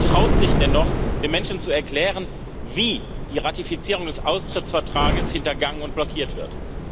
Wer von Ihnen traut sich denn noch, den Menschen zu erklären, wie die Ratifizierung des Austrittsvertrages hintergangen und blockiert wird?